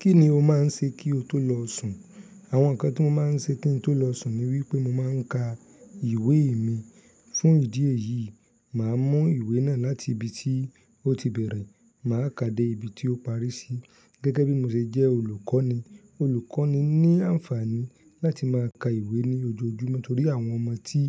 Kí ni o máa ń ṣe kí o tó lọ sùn? Àwọn nǹkan tí mo máa ń ṣe kí n tó lọ sùn ni wípé mo máa ń ka ìwé mi. Fún ìdí èyí, màá mú ìwé náà láti ibi tí ó ti bẹ̀rẹ̀, màá ká dé ibi tí ó parí sí. Gẹ́gẹ́ bí mo ṣe jẹ́ olùkọ́ ni, olùkọ́ ni n ní àǹfààní láti máa ka ìwé ní ojoojúmọ́ torí àwọn ọmọ tí